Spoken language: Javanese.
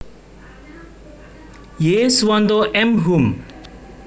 Y Suwanto M Hum